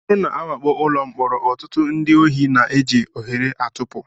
Ọ bụrụ na a wakpo ụlọ mkpọrọ, ọtụtụ ndị ohi na-eji ohere a tipụ